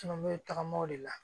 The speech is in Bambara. Caman bɛ tagama o de la